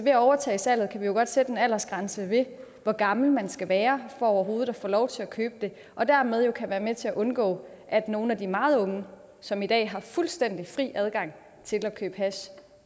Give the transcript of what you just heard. at overtage salget kan vi jo godt sætte en aldersgrænse ved hvor gammel man skal være for overhovedet at få lov til at købe det og dermed være med til at undgå at nogle af de meget unge som i dag har fuldstændig fri adgang til at købe hash